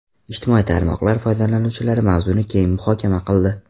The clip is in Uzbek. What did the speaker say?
Ijtimoiy tarmoqlar foydalanuvchilari mavzuni keng muhokama qildi.